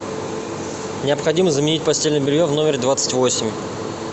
необходимо заменить постельное белье в номере двадцать восемь